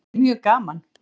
Þetta er mjög gaman